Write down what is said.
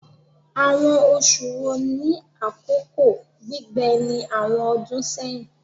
Awọn oṣu wo ni akoko gbigbẹ ni awọn ọdun sẹhin?